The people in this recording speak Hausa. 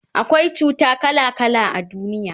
akwai cuta kala kala a duniya